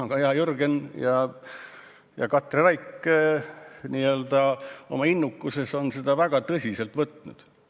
Kuid hea Jürgen ja Katri on oma innukuses seda väga tõsiselt võtnud.